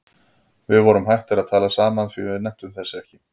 Við vorum hættir að tala saman því við nenntum þessu ekki.